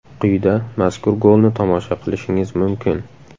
Quyida mazkur golni tomosha qilishingiz mumkin.